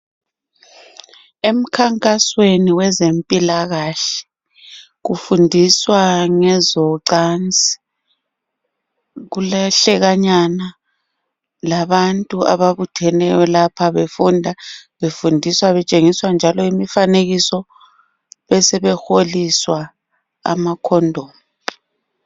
Emkhankasweni wezempilakahle kufundiswa ngezocansi kulehlekanyana labantu ababutheneyo lapha befunda befundiswa betshengiswa njalo imifanekiso besebehloliswa amakhondomu.